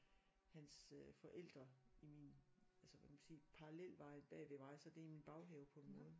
Hans øh forældre i min altså hvad kan man sige parallelvej bag vej mig så det er i min baghave på en måde